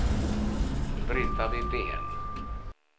Brita Widén